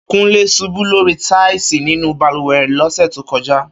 Kúnlé ṣubú lórí táìsì nínú balùwẹ̀ rẹ̀ lọ́sẹ̀ tó kọjá